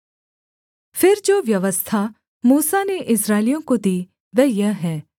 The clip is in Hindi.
फिर जो व्यवस्था मूसा ने इस्राएलियों को दी वह यह है